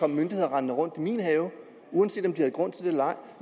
myndigheder rendende rundt i min have uanset om de havde grund til det eller ej